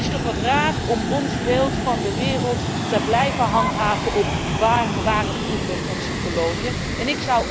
Het is toch wat raar om ons beeld van de wereld te blijven handhaven op waar vroeger onze koloniën waren.